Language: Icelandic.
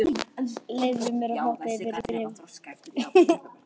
Ég leyfi mér að hoppa yfir í bréfið.